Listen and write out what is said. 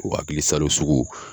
O hakilisalo sugu